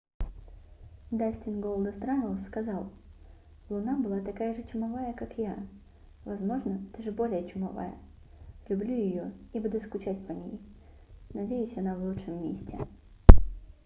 дастин голдаст раннелс сказал луна была такая же чумовая как я возможно даже более чумовая люблю её и буду скучать по ней надеюсь она в лучшем месте